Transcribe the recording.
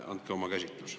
Andke oma käsitlus.